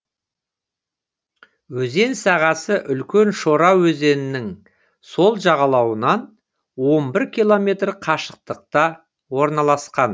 өзен сағасы үлкен шора өзенінің сол жағалауынан он бір километр қашықтықта орналасқан